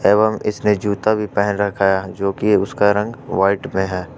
एवम इसने जूता भी पहन रखा है जो कि उसका रंग व्हाइट में है।